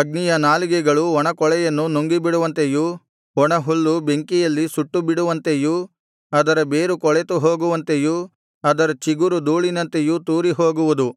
ಅಗ್ನಿಯ ನಾಲಿಗೆಗಳು ಒಣಕೊಳೆಯನ್ನು ನುಂಗಿಬಿಡುವಂತೆಯೂ ಒಣಹುಲ್ಲು ಬೆಂಕಿಯಲ್ಲಿ ಸುಟ್ಟುಬಿಡುವಂತೆಯೂ ಅದರ ಬೇರು ಕೊಳೆತು ಹೋಗುವಂತೆಯೂ ಅದರ ಚಿಗುರು ಧೂಳಿನಂತೆಯೂ ತೂರಿ ಹೋಗುವುದು